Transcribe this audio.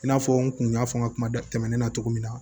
I n'a fɔ n kun y'a fɔ n ka kuma tɛmɛnen na cogo min na